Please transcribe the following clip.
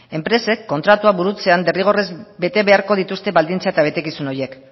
enpresek kontratua burutzean derrigorrez bete beharko dituzte baldintza eta betekizun horiek